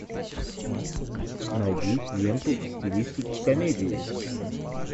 найди ленту в стилистике комедии